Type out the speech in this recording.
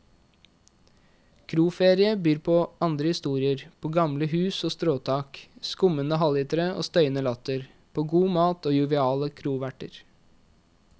Kroferie byr på andre historier, på gamle hus og stråtak, skummende halvlitere og støyende latter, på god mat og joviale kroverter.